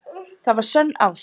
Það var sönn ást.